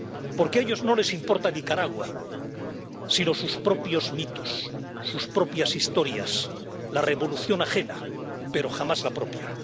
Porque a ellos no les importa Nicaragua, sino sus propios mitos, sus propias historias, la revolución ajena, pero jamás la propia.